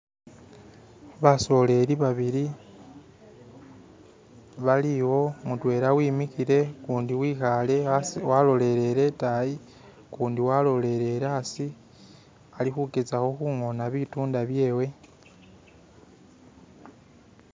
basoleli babili baliwo mutwela wemikhile ukundi wekhale walolele itayi ukundi walolele aasi alikhugezakho khung'ona bitunda byewe.